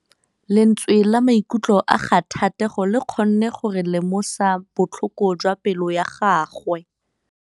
Lentswe la maikutlo a Thategô le kgonne gore re lemosa botlhoko jwa pelô ya gagwe.